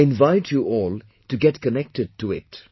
I invite you all to get connected to it